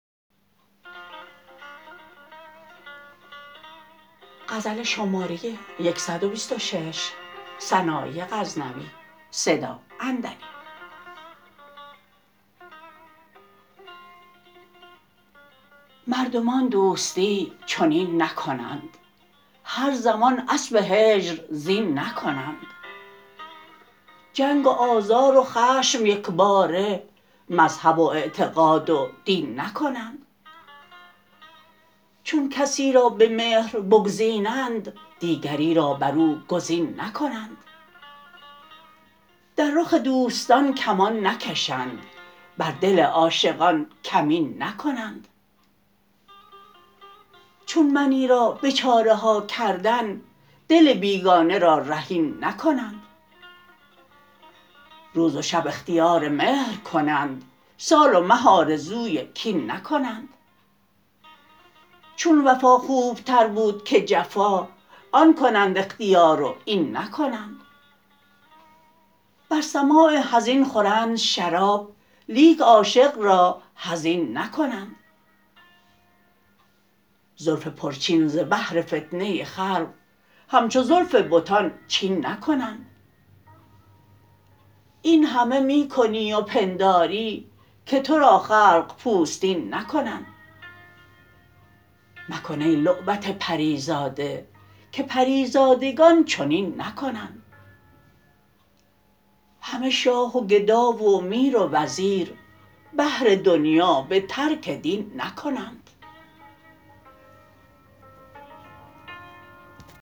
مردمان دوستی چنین نکنند هر زمان اسب هجر زین نکنند جنگ و آزار و خشم یکباره مذهب و اعتقاد و دین نکنند چون کسی را به مهر بگزینند دیگری را بر او گزین نکنند در رخ دوستان کمان نکشند بر دل عاشقان کمین نکنند چون منی را به چاره ها کردن دل بیگانه را رهین نکنند روز و شب اختیار مهر کنند سال و مه آرزوی کین نکنند چون وفا خوبتر بود که جفا آن کنند اختیار و این نکنند بر سماع حزین خورند شراب لیک عاشق را حزین نکنند زلف پر چین ز بهر فتنه خلق همچو زلف بتان چین نکنند اینهمه می کنی و پنداری که ترا خلق پوستین نکنند مکن ای لعبت پری زاده که پری زادگان چنین نکنند همه شاه و گدا و میر و وزیر بهر دنیا به ترک دین نکنند